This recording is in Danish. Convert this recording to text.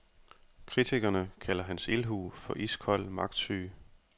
Kritikerne kalder hans ildhu for iskold magtsyge.